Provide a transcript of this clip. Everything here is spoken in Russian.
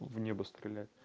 в небо стрелять